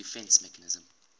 defence mechanism